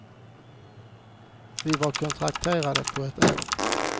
Vi var kontrakterade på ett år.